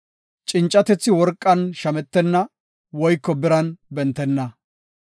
Cincatethi worqan shametenna woyko biran bentenna.